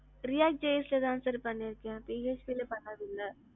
react js ல தான் பண்ணிருக்கேன். PHP ல பண்ணது இல்ல.